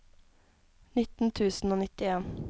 nitten tusen og nittien